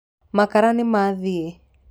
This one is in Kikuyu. Makara nĩmathia.